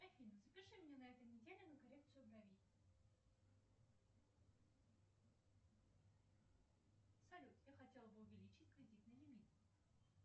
афина запиши меня на этой неделе на коррекцию бровей салют я хотела бы увеличить кредитный лимит